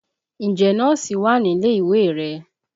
Ǹjẹ́ Nọ́ọ̀sì wà nílé ìwé rẹ?